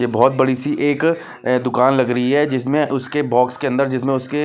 ये बहोत बड़ी सी एक दुकान लग री है जिसमें उसके बॉक्स के अंदर जिसमें उसके--